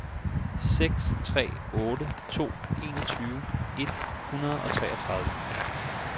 seks tre otte to enogtyve et hundrede og treogtredive